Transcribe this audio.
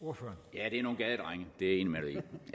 ja det er nogle gadedrenge det er i mere